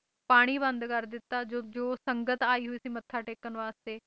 ਪਾਣੀ ਬੰਦ ਕਰ ਦਿੱਤਾ ਜੋ ਸੰਗਤ ਆਈ ਹੋਈ ਸੀ ਮੱਥਾ ਟੇਕਣ ਵਾਸਤੇ ਕਿਉਂਕਿ ਹਾਂ ਜੀ ਜਦੋਂ ਜਿੱਥੇ